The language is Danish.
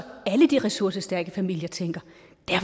alle de ressourcestærke familier tænker